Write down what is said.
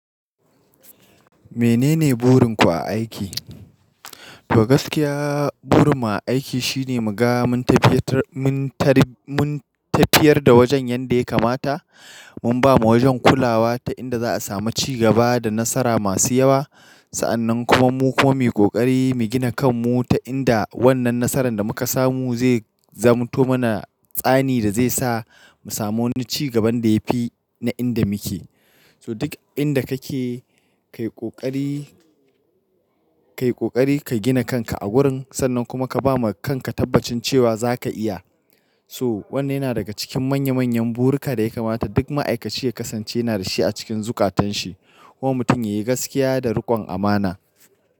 Menene burin ku a aiki? To gaskiya burin mu a aiki shine muga mun tafiyar da wajen yanda ya kamata, mun ba mula wajan kulawa ta inda za a samu cigaba da nasara masu yawa. Sa'annan kuma mu kuma mu yi ƙoƙari mu gina kan mu ta inda wannan nasaran da muka samu zai zamanto mana tsani da zai sa mu samu wani cigaban da ya fi na inda muke. So duk inda kake ka yi ƙoƙari ka gina kanka a gurin sannan kuma ka ba ma kanka tabbacin cewa za ka iya. So wannan yana daga cikin manya manyan buruka da ya kamata duk ma'aikaci ya kasance yana da shi a cikin zukatan shi. Wannan mutum ya yi gaskiya da riƙon amana.